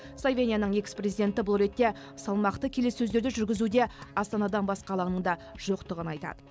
словенияның экс президенті бұл ретте салмақты келіссөздерді жүргізуде астанадан басқа алаңның да жоқтығын айтады